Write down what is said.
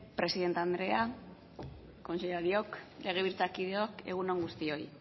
presidente andrea kontseilariok legebiltzarkideok egun on guztioi